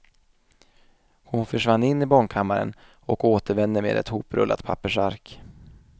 Hon försvann in i barnkammaren och återvände med ett hoprullat pappersark.